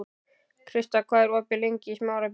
Krista, hvað er opið lengi í Smárabíói?